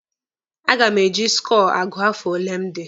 A ga m eji skọọ agụ afọ ole m dị.